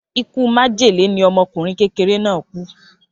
Ikú májèlé ni ọmọkùnrin kékeré náà kú.